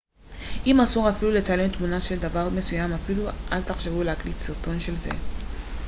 אם אסור אפילו לצלם תמונה של דבר מסוים אפילו אל תחשבו להקליט סרטון של זה